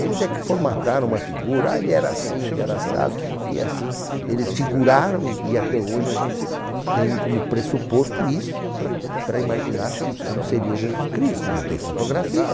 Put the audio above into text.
Eles é que formataram uma figura, ah, ele era assim, ele era assado, e assim, eles figuraram e e até hoje a gente tem como pressuposto isso para para imaginar como seria Jesus Cristo, não tem fotografia.